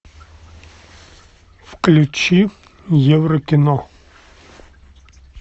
включи еврокино